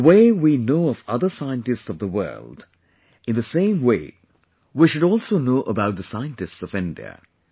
The way we know of other scientists of the world, in the same way we should also know about the scientists of India